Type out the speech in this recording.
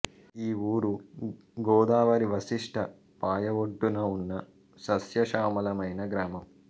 ఈ ఊరు గోదావరి వశిష్ట పాయఒడ్డున ఉన్న సస్యశ్యామలమైన గ్రామం